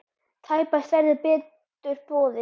Tæpast verður betur boðið!